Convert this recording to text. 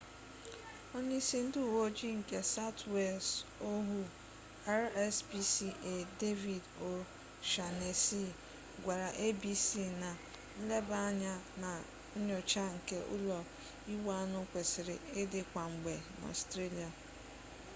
onye-isi ndi uwe-oji nke south wales ohuu rspca david o'shannessy gwara abc na nleba-anya na nyocha nke ulo-igbu-anu kwesiri idi kwa-mgbe na australia